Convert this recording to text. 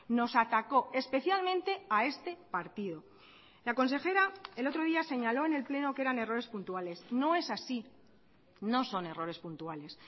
nos atacó especialmente a este partido la consejera el otro día señaló en el pleno que eran errores puntuales no es así no son errores puntuales